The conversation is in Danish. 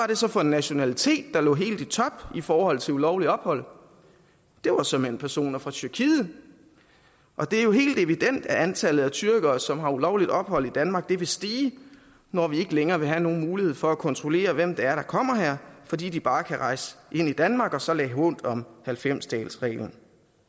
det så for en nationalitet der lå helt i top i forhold til ulovligt ophold det var såmænd personer fra tyrkiet og det er helt evident at antallet af tyrkere som har ulovligt ophold i danmark vil stige når vi ikke længere vil have nogen mulighed for at kontrollere hvem det er der kommer her fordi de bare kan rejse ind i danmark og så lade hånt om halvfems dagesreglen